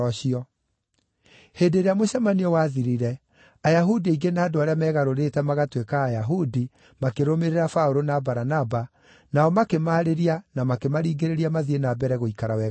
Hĩndĩ ĩrĩa mũcemanio wathirire, Ayahudi aingĩ na andũ arĩa meegarũrĩte magatuĩka Ayahudi makĩrũmĩrĩra Paũlũ na Baranaba, nao makĩmaarĩria na makĩmaringĩrĩria mathiĩ na mbere gũikara wega-inĩ wa Ngai.